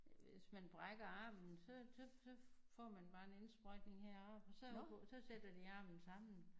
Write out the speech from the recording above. Hvis man brækker armen så så så får man bare en indsprøjtning her i armen og så så sætter de armen sammen